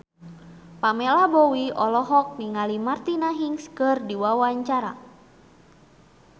Pamela Bowie olohok ningali Martina Hingis keur diwawancara